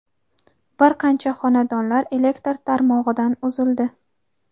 bir qancha xonadonlar elektr tarmog‘idan uzildi.